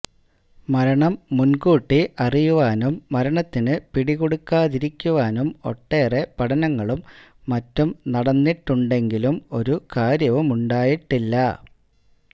മരണം മുന്കൂട്ടി അറിയുവാനും മരണത്തിന് പിടികൊടുക്കാതിരിക്കുവാനും ഒട്ടേറെ പഠനങ്ങളും മറ്റും നടന്നിട്ടുണ്ടെങ്കിലും ഒരു കാര്യവുമുണ്ടായിട്ടില്ല